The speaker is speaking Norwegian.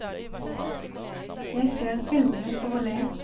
Jeg ser filmene for å le.